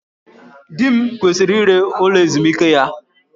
Di m kwesịrị ire ụlọ ezumike ya